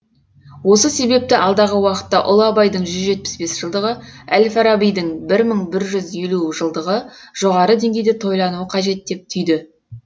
осы себепті алдағы уақытта ұлы абайдың жүз жетпіс бес жылдығы әл фарабидің бір мың бір жүз елу жылдығы жоғары деңгейде тойлануы қажет деп түйді